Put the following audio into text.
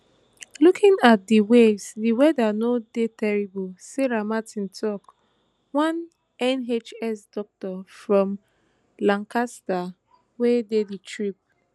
looking out at di waves di weather no dey terrible sarah martin tok one nhs doctor from lancaster wey dey di trip